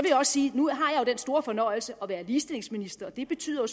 også sige at nu har jeg den store fornøjelse at være ligestillingsminister og det betyder